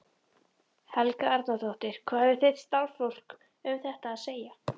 Helga Arnardóttir: Hvað hefur þitt starfsfólk um þetta að segja?